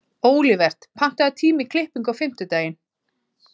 Olivert, pantaðu tíma í klippingu á fimmtudaginn.